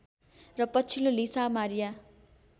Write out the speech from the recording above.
र पछिल्लो Lisa Maria